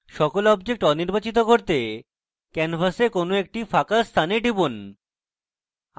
সকল objects অনির্বাচিত করতে canvas কোনো একটি ফাঁকা স্থানে টিপুন